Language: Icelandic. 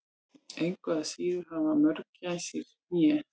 engu að síður hafa mörgæsir hné